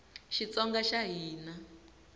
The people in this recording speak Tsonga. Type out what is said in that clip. xitsonga xa hina